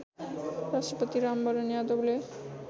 राष्ट्रपति रामवरण यादवले